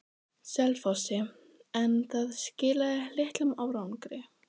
Selfossi, en það skilaði litlum árangri.